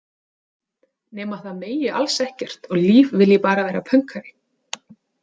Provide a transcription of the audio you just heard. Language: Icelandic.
Nema það megi alls ekkert og Líf vilji bara vera pönkari.